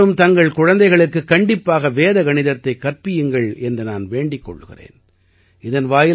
பெற்றோர் அனைவரும் தங்கள் குழந்தைகளுக்குக் கண்டிப்பாக வேத கணிதத்தைக் கற்பியுங்கள் என்று நான் வேண்டிக் கொள்கிறேன்